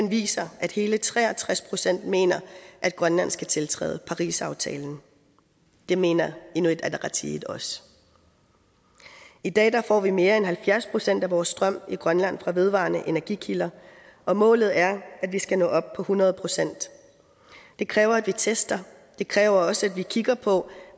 viser at hele tre og tres procent mener at grønland skal tiltræde parisaftalen det mener inuit ataqatigiit også i dag får vi mere end halvfjerds procent af vores strøm i grønland fra vedvarende energikilder og målet er at vi skal nå op på hundrede procent det kræver at vi tester det kræver også at vi kigger på